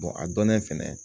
a dɔnnen fɛnɛ